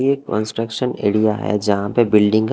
ये construction area है जहां पे बिल्डिंग का--